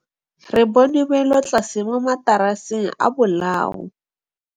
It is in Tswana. Re bone wêlôtlasê mo mataraseng a bolaô.